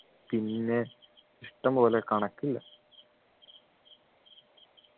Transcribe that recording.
പിന്നെ ഇഷ്ടംപോലെ കണക്കില്ല